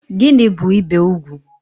Gịnị bu ibé ugwu?